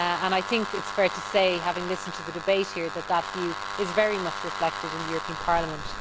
It is fair to say, having listened to the debate here, that this view is very much reflected in the European Parliament.